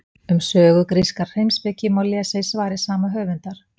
um sögu grískrar heimspeki má lesa í svari sama höfundar